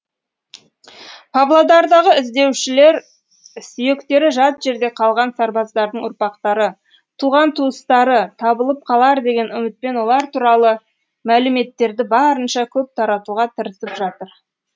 павлодардағы іздеушілер сүйектері жат жерде қалған сарбаздардың ұрпақтары туған туыстары табылып қалар деген үмітпен олар туралы мәліметтерді барынша көп таратуға тырысып жатыр